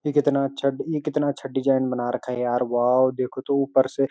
ये कितना अच्छा ई कितना अच्छा डिजाइन बना रखा है यार वाओ देखो तो ऊपर से।